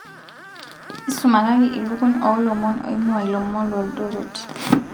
isumakaki ilukuny oolomon oingua ilomon loldoret